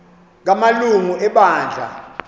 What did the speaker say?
kama lungu ebandla